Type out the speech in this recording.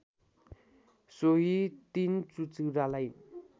सोहि ३ चुचुरालाई